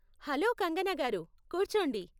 Hello, Kangana గారూ! కూర్చోండి.